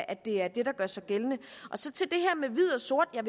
at det er det der gør sig gældende så til det her med hvid og sort jeg